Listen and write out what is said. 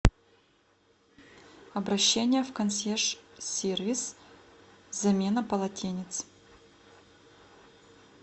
обращение в консьерж сервис замена полотенец